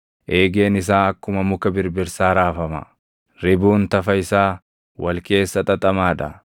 Eegeen isaa akkuma muka birbirsaa raafama; ribuun tafa isaa wal keessa xaxamaa dha.